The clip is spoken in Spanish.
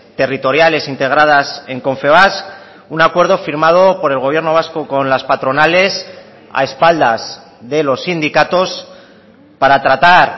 territoriales integradas en confebask un acuerdo firmado por el gobierno vasco con las patronales a espaldas de los sindicatos para tratar